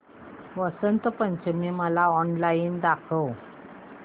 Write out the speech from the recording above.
वसंत Panchami online ऑनलाइन दाखव